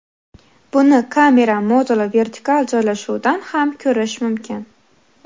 Buni kamera moduli vertikal joylashuvidan ham ko‘rish mumkin.